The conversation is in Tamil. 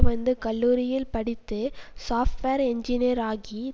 வந்து கல்லூரியில் படித்து சாப்ட்வேர் இன்ஜினியராகி